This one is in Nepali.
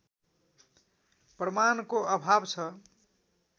प्रमाणको अभाव छ